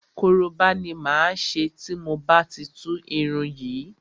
Koroba ni máa ṣe tí mo bá ti tú irun yìí.